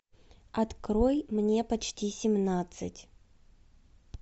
открой мне почти семнадцать